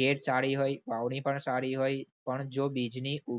કેળ સારી હોય વાવણી પણ સારી હોય પણ જો બીજની ઉ